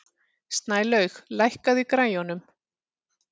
Snælaug, lækkaðu í græjunum.